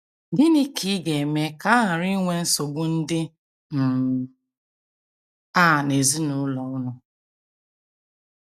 Gịnị ka ị ga - eme ka a ghara inwe nsogbu ndị um a n’ezinụlọ unu?